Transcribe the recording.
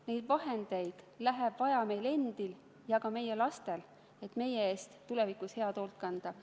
Neid vahendeid läheb vaja meil endil ja ka meie lastel, et meie eest oleks tulevikus hästi hoolt kantud.